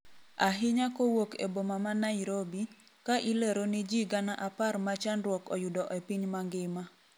ahinya kowuok e boma ma Nairobi, ka ilero ni jii gana apar ma chandruok oyudo e piny mangima